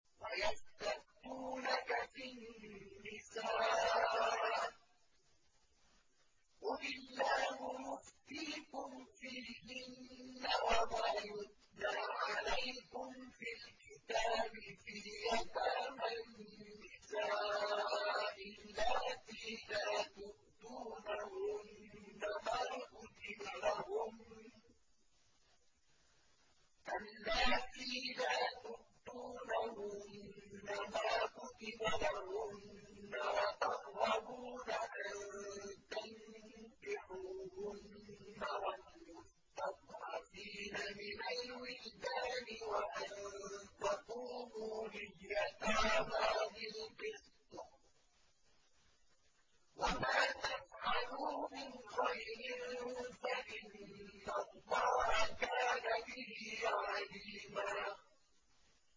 وَيَسْتَفْتُونَكَ فِي النِّسَاءِ ۖ قُلِ اللَّهُ يُفْتِيكُمْ فِيهِنَّ وَمَا يُتْلَىٰ عَلَيْكُمْ فِي الْكِتَابِ فِي يَتَامَى النِّسَاءِ اللَّاتِي لَا تُؤْتُونَهُنَّ مَا كُتِبَ لَهُنَّ وَتَرْغَبُونَ أَن تَنكِحُوهُنَّ وَالْمُسْتَضْعَفِينَ مِنَ الْوِلْدَانِ وَأَن تَقُومُوا لِلْيَتَامَىٰ بِالْقِسْطِ ۚ وَمَا تَفْعَلُوا مِنْ خَيْرٍ فَإِنَّ اللَّهَ كَانَ بِهِ عَلِيمًا